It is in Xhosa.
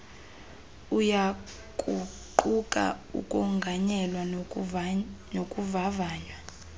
uyakuquka ukonganyelwa nokuvavanywa